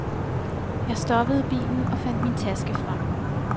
Jeg stoppede bilen og fandt min taske frem.